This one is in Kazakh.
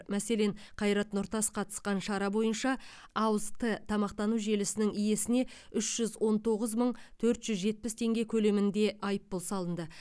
мәселен қайрат нұртас қатысқан шара бойынша ауыз т тамақтану желісінің иесіне үш жүз он тоғыз төрт жүз жетпіс теңге көлемінде айыппұл салынды